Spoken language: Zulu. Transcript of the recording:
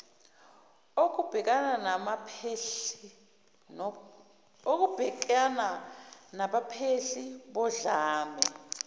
okubhekana nabaphehli bodlame